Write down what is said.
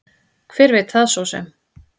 Hver veit það svo sem.